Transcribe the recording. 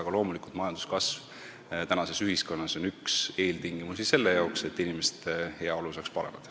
Aga loomulikult on majanduskasv tänases ühiskonnas üks eeltingimusi, et inimeste heaolu saaks paraneda.